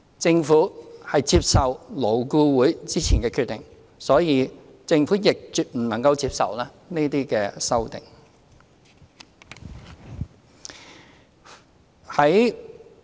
政府接受勞顧會之前的決定，所以政府亦絕不能夠接受這些修正案。